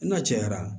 N'a cayara